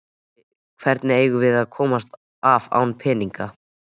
Hvernig eigum við að komast af án peninga?